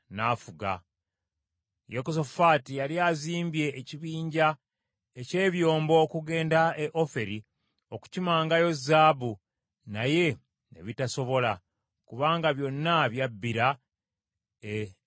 Yekosafaati yali azimbye ekibinja eky’ebyombo okugenda e Ofiri okukimangayo zaabu, naye ne bitasobola, kubanga byonna byabbira e Eziyonigeba.